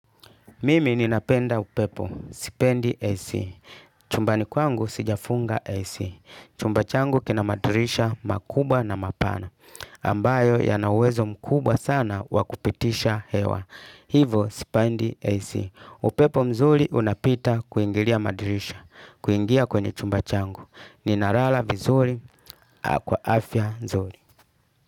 Mimi ninapenda upepo. Sipendi AC. Chumbani kwangu sijafunga AC. Chumbachangu kina madirisha makubwa na mapana. Ambayo ya nauwezo mkubwa sana wakupitisha hewa. Hivo sipendi AC. Upepo mzuri unapita kuingilia madirisha. Kuingia kwenye chumbachangu. Ninalala vizuri. Kwa afya nzuri.